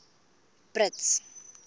brits